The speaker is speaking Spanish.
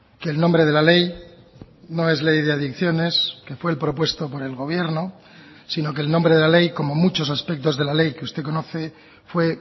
que el nombre de la ley no es ley de adicciones que fue el propuesto por el gobierno sino que el nombre de la ley como muchos aspectos de la ley que usted conoce fue